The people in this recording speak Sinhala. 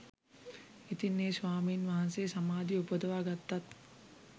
ඉතින් ඒ ස්වාමීන් වහන්සේ සමාධිය උපදවා ගත්තත්